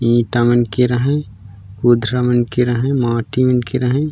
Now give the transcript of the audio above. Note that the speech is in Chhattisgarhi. ईटा मन के रहाय उध्रा मन के रहाय माटी मन के रहाय --